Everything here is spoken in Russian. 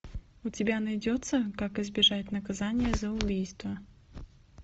у тебя найдется как избежать наказания за убийство